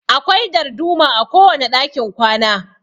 Akwai darduma a kowane dakin kwana.